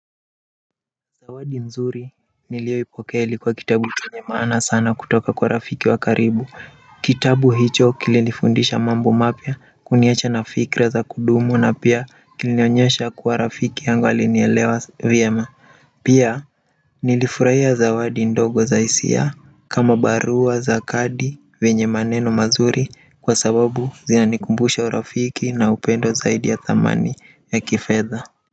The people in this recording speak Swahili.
Zawadi nzuri niliopokea ilikuwa kitabu chenye maana sana kutoka kwa rafiki wa karibu kitabu hicho kilinifundisha mambo mapya kuniwacha na fikra za kudumu na pia kilinionyesha kuwa rafiki yangu alinielewa vyema pia nilifurahia zawadi ndogo za hisia kama barua za kadi yenye maneno mazuri kwa sababu zinanikumbusha urafiki na upendo zaidi ya thamani ya kifedha.